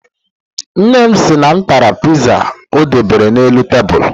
Nne m sị na m tara Piiza o debere n'elu tebulu.